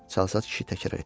Çalsat kişi təkrar etdi.